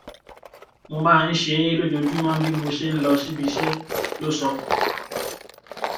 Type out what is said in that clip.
mo máa ń ṣe é lójoojúmọ bí mo ṣe ń lọ síbi iṣẹ ló sọ